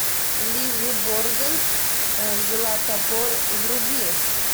лиззи борден взяла топор вруби